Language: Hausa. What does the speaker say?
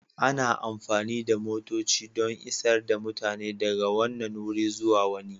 Ana amfani da motoci don isar da mutane daga wannan wuri zuwa wani.